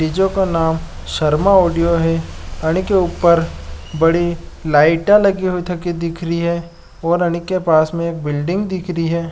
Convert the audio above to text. डि.जो. का नाम शर्मा ऑडियो है अनी के उपर बड़ी लाइटा लगि हुई थकी दिख री है और अनी के पास में एक बिल्डिंग दिखरी है।